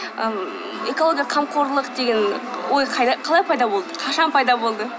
ммм экологияға қамқорлық деген ой қалай пайда болды қашан пайда болды